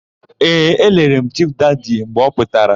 Ee, elere m Chifu Dadi mgbe ọ pụtara.